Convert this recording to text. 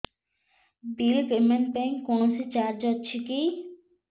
bill payment ପାଇଁ କୌଣସି charge ଅଛି କି